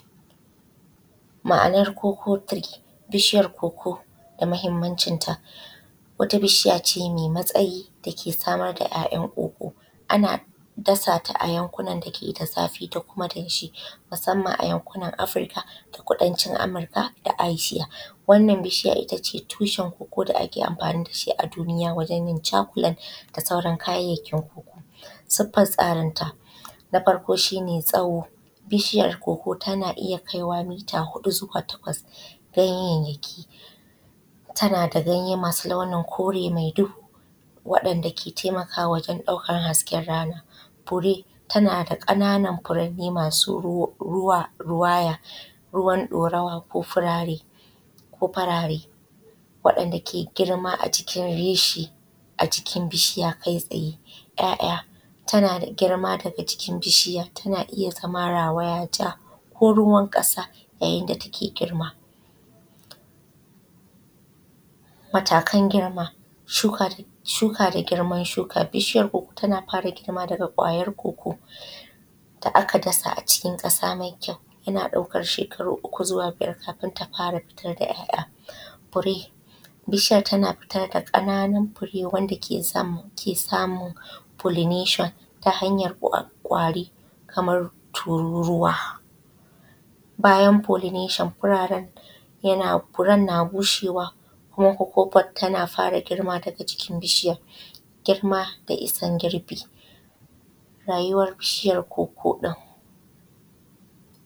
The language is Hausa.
Ma’anar koko tiri. Bishiyar koko damahimmancin ta wata bishiyace mai tsayi dake samar da ‘ya’’yan’ koko ana dasata a yankunan dake da zafi da kuma damshi musamman a yankunan Afirika da kuma kudancin Amurka da Asiya wannan bishiya ittace tushen koko da ake amfani da dashi a duniya wajen yin cakulat da sauran kayayyakin sifar tsarin ta. Na farko shine tsawo bishiyar koko tana iyya kaiwa mita huɗu zuwa takwas. Ganyayyaki tanada ganye masu launin kore mai duhu dake taimakawa wajen ɗaukan hasken rana. Fure tanada ƙananan furanni ma rawaya, ruwan ɗorawa ko farare wa ‘yan’da ke girma a gikin reshe bishiya kai tsaye. ‘ya’’ya’ tanada girma daga jikin bishiya tana iyya zama rawaya jako ruwan ƙasa yayinda take girma. Mataka girma shuka da girman shuka bishiyan koko tana fara girma daga kwayar koko da aka dasa a cikin ƙasa mai kyau, yaba ɗaukan shekaru uku zuwa biyar kafin ta fara fitar da ‘ya’’ya’. Fure bishiyar tana fitar da ƙananun fure wanda kec samun folinashon ta hanyar kwari kamar tururuwa, bayan folinashon furen na bushe kuma koko bot tana fara girma daga jikin bishiyar, girma da isan girbi rayuwar bishiyar koko ɗin.